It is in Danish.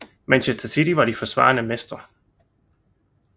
Manchester City var de forsvarende mestre